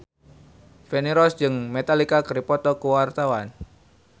Feni Rose jeung Metallica keur dipoto ku wartawan